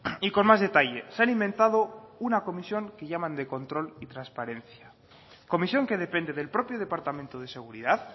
y con más detalle se han inventado una comisión que llaman de control y transparencia comisión que depende del propio departamento de seguridad